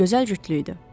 Gözəl cütlüyüdü.